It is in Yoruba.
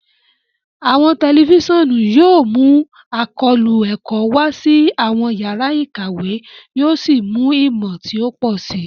Awọn tẹlifisiọnu yóò mú àkóónú ẹkọ wa sí awọn yàrá ìkàwé, yóò sì mú ìmọ ti o pọ si.